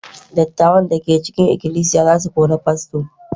dattawan da ke cikin ikilisiya za su kori fasto